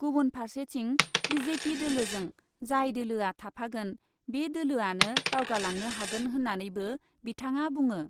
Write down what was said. गुबुन फार्सेथिं, B J P दोलोजों जाय दोलोआ थाफागोन बे दोलोआनो दावगालांनो हागोन होन्नानैबो बिथाङा बुङो।